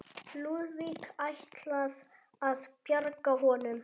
Lúðvík ætlað að bjarga honum.